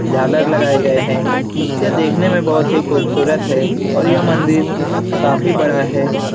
झालर लगाए गए है यह देखने में बहुत ही खूबसूरत है और यह मंदिर काफी बड़ा है।